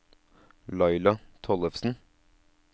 Laila Tollefsen